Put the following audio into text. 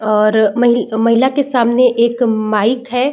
और महि महिला के सामने एक माइक है।